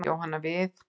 Bætti Jóhanna við.